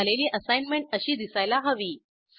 पूर्ण झालेली असाईनमेंट अशी दिसायला हवी